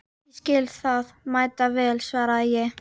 Ég skil það mæta vel, svaraði ég.